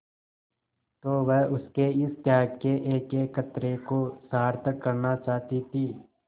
तो वह उसके इस त्याग के एकएक कतरे को सार्थक करना चाहती थी